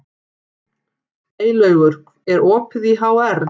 Eylaugur, er opið í HR?